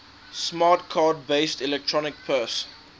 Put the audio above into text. smart card based electronic purse